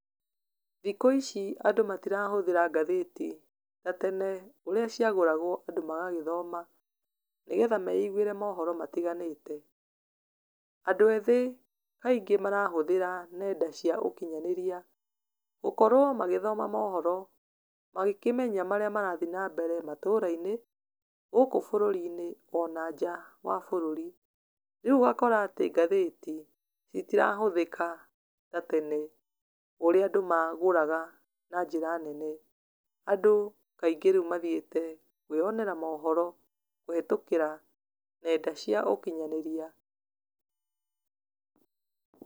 Thikũ ici andũ matirahũthĩra ngathĩti ta tene ũrĩa ciagũragwo andũ magagĩthoma, nĩgetha meigwĩre mohoro matiganĩte, andũ ethĩ kaingĩ marahũthĩra nenda cia ũkinyanĩria, gũkorwo magĩthoma mohoro, magĩkĩmenya marĩa marathiĩ na mbere matũra-inĩ, gũkũ bũrũri-inĩ, ona nja wa bũrũri, rĩu ũgakora atĩ ngathĩti, itirahũthĩka ta tene ũrĩa andũ magũraga na njĩra nene, andũ kaingĩ rĩu mathiĩte kwĩyonera mohoro kũhetũkĩra nenda cia ũkinyanĩria.